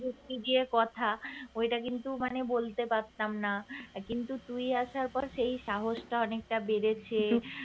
যুক্তি দিয়ে কথা ওইটা কিন্তু মানে বলতে পারতাম না আসার পর সেই সাহসটা অনেকটা বেড়েছে